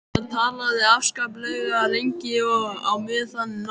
Hann talaði afskaplega lengi og á meðan náði